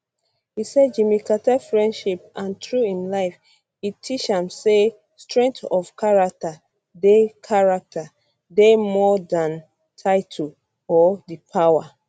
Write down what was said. e say jimmy carter friendship and through im life e teach me say strength of character dey character dey more than title or di power